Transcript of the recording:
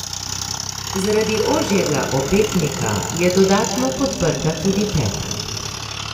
Zaradi ožjega opetnika je dodatno podprta tudi peta.